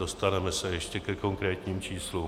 Dostaneme se ještě ke konkrétním číslům.